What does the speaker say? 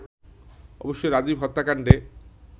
অবশ্য রাজীব হত্যাকাণ্ডে